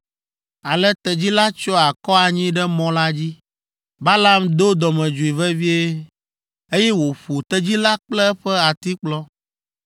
Ale tedzi la tsyɔ akɔ anyi ɖe mɔ la dzi. Balaam do dɔmedzoe vevie, eye wòƒo tedzi la kple eƒe atikplɔ.